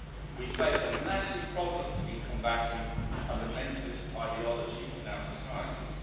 We face a massive problem in combating fundamentalist ideology in our societies.